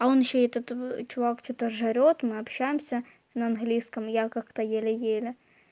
он ещё этот чувак что-то жрёт мы общаемся на английском я как-то еле еле